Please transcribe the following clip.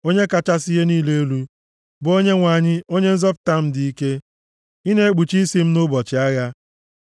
Onye kachasị ihe niile elu, bụ Onyenwe anyị Onye nzọpụta m dị ike, ị na-ekpuchi isi m nʼụbọchị agha.